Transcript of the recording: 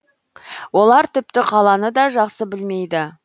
олар тіпті қаланы да жақсы білмейді